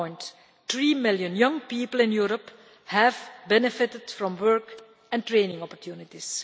1.3 million young people in Europe have benefited from work and training opportunities.